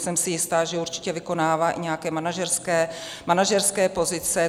Jsem si jistá, že určitě vykonává i nějaké manažerské pozice.